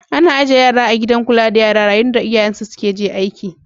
Ana ajie yara a'gidan kulla da yara yayin da iyayen su je aiki.